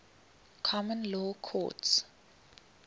common law courts